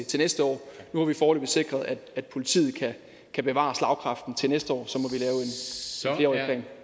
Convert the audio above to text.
til næste år nu har vi foreløbig sikret at politiet kan bevare slagkraften til næste år og